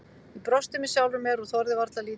Ég brosti með sjálfri mér og þorði varla að líta upp.